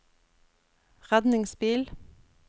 redningsbil